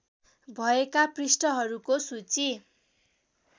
भएका पृष्ठहरूको सूची